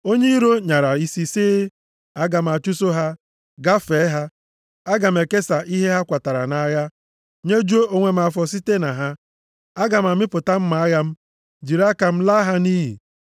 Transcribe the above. Onye iro nyara isi sị, ‘Aga m achụso ha, gafee ha. Aga m ekesa ihe a kwatara nʼagha. Nyejuo onwe m afọ site na ha. Aga m amịpụta mma agha m. Jiri aka m laa ha nʼiyi.’